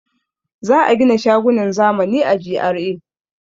Za a gina shagunan zamani a GRA.